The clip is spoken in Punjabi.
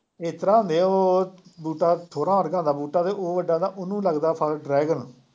ਇਸ ਤਰ੍ਹਾ ਹੁੰਦੇ ਹੈ ਉਹ ਬੂਟਾ ਠੋਰਾਂ ਵਰਗਾ ਹੁੰਦਾ ਬੂਟਾ ਅਤੇ ਉਹ ਏਦਾ ਦਾ ਉਹਨੂੰ ਲੱਗਦਾ ਫਲ, ਡਰੈਗਨ